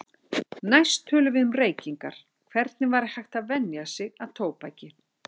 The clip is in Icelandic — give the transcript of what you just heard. Næst tölum við um reykingar, hvernig væri hægt að venja sig af tóbaki.